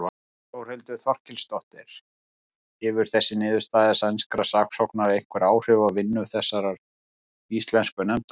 Þórhildur Þorkelsdóttir: Hefur þessi niðurstaða sænskra saksóknara einhver áhrif á vinnu þessarar íslensku nefndar?